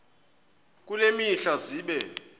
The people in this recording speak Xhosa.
kule mihla zibe